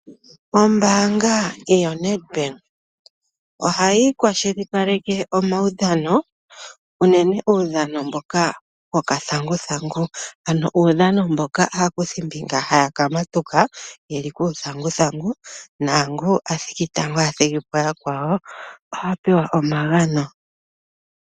Ombaanga yoNedbank ohayi kwashilipaleke omaudhano unene uudhano mboka woka thanguthangu, ano uudhano mboka aakuthimbinga haya ka hinga uuthanguthangu naangoka a thiki tango a thigi po yakwawo oha pewa omagano.